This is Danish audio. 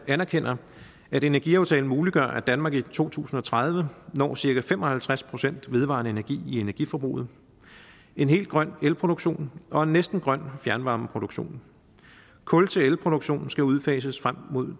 anerkender at energiaftalen muliggør at danmark i to tusind og tredive når cirka fem og halvtreds procent vedvarende energi i energiforbruget en helt grøn elproduktion og en næsten grøn fjernvarmeproduktion kul til elproduktion skal udfases frem mod